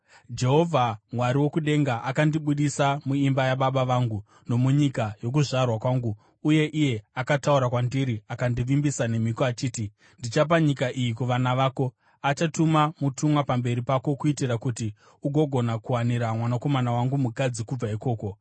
Jehovha, Mwari wokudenga, akandibudisa muimba yababa vangu nomunyika yokuzvarwa kwangu uye iye akataura kwandiri akandivimbisa nemhiko achiti, ‘Ndichapa nyika iyi kuvana vako,’ achatuma mutumwa pamberi pako kuitira kuti ugogona kuwanira mwanakomana wangu mukadzi kubva ikoko.